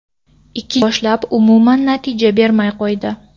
Ikkinchi haftadan boshlab umuman natija bermay qo‘ydi.